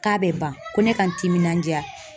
K'a bɛ ban ko ne ka n timinandiya